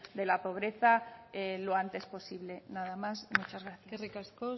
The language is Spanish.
de la pobreza lo antes posible nada más muchas gracias eskerrik asko